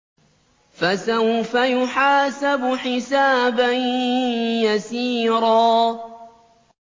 فَسَوْفَ يُحَاسَبُ حِسَابًا يَسِيرًا